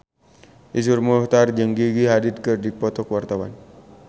Iszur Muchtar jeung Gigi Hadid keur dipoto ku wartawan